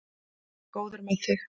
Góður með þig.